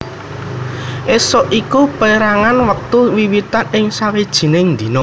Ésuk iku pérangan wektu wiwitan ing sawijining dina